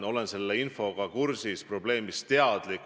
Olen selle infoga kursis, probleemist teadlik.